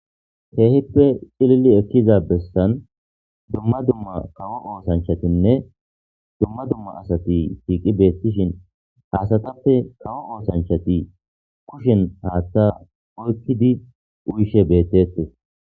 Kehipe c'ilili ekiza besan duma duma kawo osanchatinne duma duma asati shiqi betisheni ha asatape kawo osanchati kushen hatha oyqidi uyishe betetes.